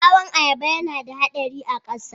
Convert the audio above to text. Ɓawon ayaba yana da haɗari a ƙasa